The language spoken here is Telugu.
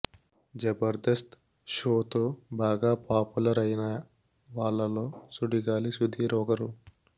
జబర్దస్త్ షో తో బాగా పాపులర్ ఐన వాళ్లలో సుడిగాలి సుధీర్ ఒకరు